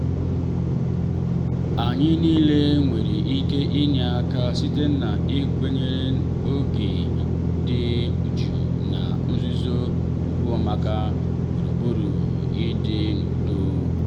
anyị niile nwere ike inye aka site n'ịkwanyere oge dị jụụ na nzuzo ùgwùmaka gburugburu i di n'udo.